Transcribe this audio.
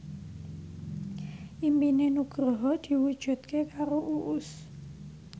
impine Nugroho diwujudke karo Uus